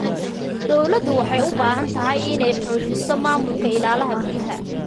Dawladdu waxay u baahan tahay inay xoojiso maamulka ilaha biyaha.